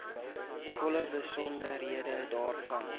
volle besonderhede daarvan